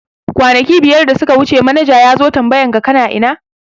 Kwanaki biyar da suka wuce manaja yazo tambayan ka kana ina?